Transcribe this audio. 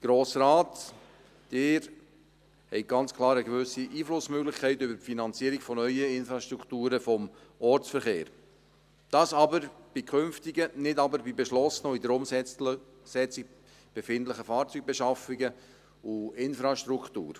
Der Grosse Rat, Sie, haben zwar ganz klar eine gewisse Einflussmöglichkeit über die Finanzierung neuer Infrastrukturen des Ortsverkehrs, aber in künftigen und nicht in beschlossenen und sich in der Umsetzung befindlichen Fahrzeugbeschaffungen und Infrastruktur.